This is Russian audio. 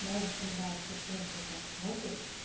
даже когда тебе просто вот так смотрят